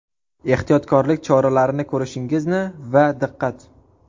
Ehtiyotkorlik choralarini ko‘rishingizni va ‘Diqqat!